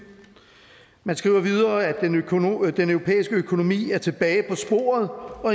man skriver videre at den europæiske økonomi er tilbage på sporet og